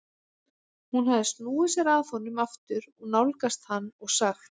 Hún hafði snúið sér að honum aftur og nálgast hann og sagt